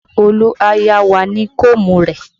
Ṣé Olu á yá wá ní koomu rẹ?